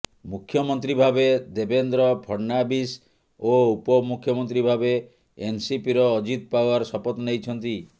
ମୁଖ୍ୟମନ୍ତ୍ରୀ ଭାବେ ଦେବେନ୍ଦ୍ର ଫଡନାଭିସ ଓ ଉପ ମୁଖମନ୍ତ୍ରୀ ଭାବେ ଏନସିପିର ଅଜିତ ପାଓ୍ବାର ଶପଥ ନେଇଛନ୍ତି